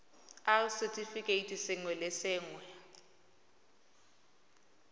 r setefikeiti sengwe le sengwe